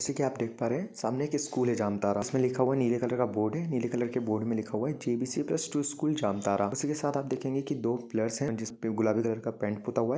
जैसे की आप देख पा रहे है सामने एक स्कूल है जामतारा इसमें लिखा हुआ है नीले कलर का बोर्ड है नीले कलर के बोर्ड में लिखा है JBC plus two school Jamtara इसी के साथ आप देखेंगे की दो पिल्लर्स है जिसपे गुलाबी कलर का पेन्ट पुता हुआ है।